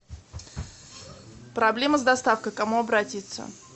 проблема с доставкой к кому обратиться